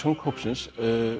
hópsins